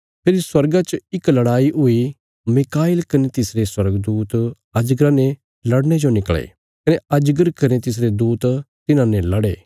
फेरी स्वर्गा च इक लड़ाई हुई मीकाईल कने तिसरे स्वर्गदूत अजगरा ने लड़ने जो निकले कने अजगर कने तिसरे दूत तिन्हांने लड़े